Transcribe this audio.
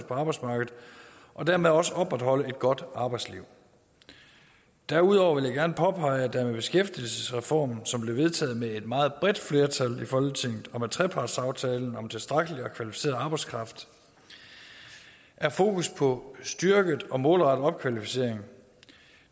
på arbejdsmarkedet og dermed også opretholde et godt arbejdsliv derudover vil jeg gerne påpege at der med beskæftigelsesreformen som blev vedtaget med et meget bredt flertal i folketinget og med trepartsaftalen om tilstrækkelig og kvalificeret arbejdskraft er fokus på styrket og målrettet opkvalificering og